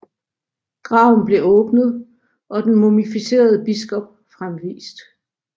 Graven blev åbnet og den mumificerede biskop fremvist